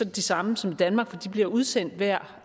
de samme som i danmark for de bliver udsendt hver